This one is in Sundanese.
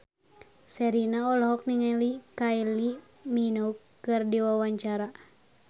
Sherina olohok ningali Kylie Minogue keur diwawancara